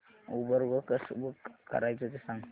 Uber गो कसं book करायचं ते सांग